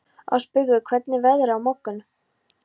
Ásbergur, hvernig er veðrið á morgun?